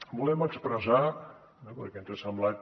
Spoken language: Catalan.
volem expressar perquè ens ha semblat